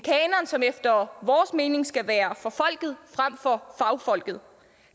som efter vores mening skal være for folket frem for fagfolket